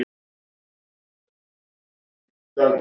Heilt yfir höfum við mjög sterkan hóp.